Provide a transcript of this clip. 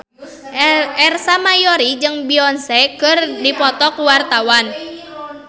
Ersa Mayori jeung Beyonce keur dipoto ku wartawan